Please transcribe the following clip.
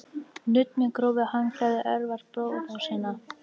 Nudd með grófu handklæði örvar blóðrásina.